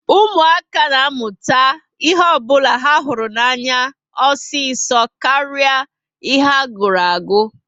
Ụmụaka ná amụta ihe ọbula ha hụrụ anya osiso karịa ihe a gụrụ agu